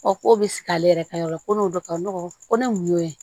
k'o bɛ sigi ale yɛrɛ ka yɔrɔ la ko n'o bɛ ka n dɔgɔ ko ne mun y'o ye